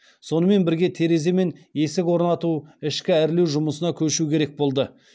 сонымен бірге терезе мен есік орнату ішкі әрлеу жұмысына көшу керек болды